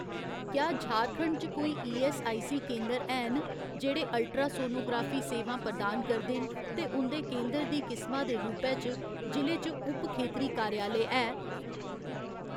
क्या झारखंड च कोई ईऐस्सआईसी केंदर हैन जेह्ड़े अल्ट्रासौनोग्राफी सेवां प्रदान करदे न ते उं'दे केंदर दी किसमा दे रूपै च जि'ले च उप खेतरी कार्यालय है ?